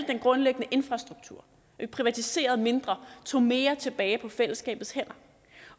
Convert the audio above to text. den grundlæggende infrastruktur privatiserede mindre tog mere tilbage på fællesskabets hænder